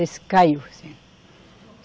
Esse caiu, sim.